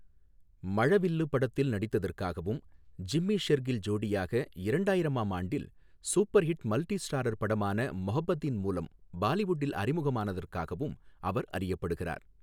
மழவில்லு படத்தில் நடித்ததற்காகவும், ஜிம்மி ஷெர்கில் ஜோடியாக இரண்டாயிரமாம் ஆண்டில் சூப்பர் ஹிட் மல்டி ஸ்டாரர் படமான மொஹப்பதீன் மூலம் பாலிவுட்டில் அறிமுகமானதற்காகவும் அவர் அறியப்படுகிறார்.